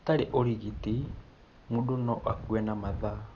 Hatarĩ ũrigiti, mũndũ no akue na mathaa.